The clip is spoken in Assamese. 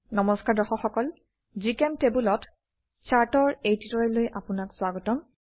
নমস্কাৰ দৰ্শক সকল জিচেম্টেবল ত চাৰ্ট চাৰ্ট ৰ এই টিউটোৰিয়েললৈ আপোনাক স্বাগতম